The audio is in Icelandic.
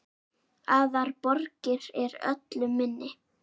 Aðrar borgir eru öllu minni.